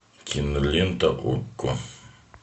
кинолента окко